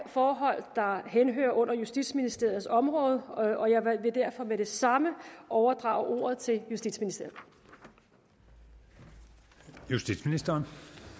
forhold der henhører under justitsministeriets område og jeg vil derfor med det samme overdrage ordet til justitsministeren justitsministeren